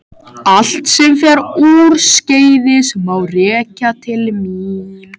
allt sem fer úrskeiðis má rekja til mín.